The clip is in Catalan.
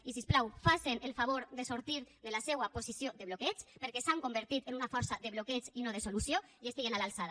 i si us plau facen el favor de sortir de la seua posició de bloqueig perquè s’han convertit en una força de bloqueig i no de solució i estiguen a l’alçada